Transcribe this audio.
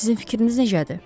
Sizin fikriniz necədir?